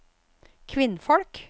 kvinnfolk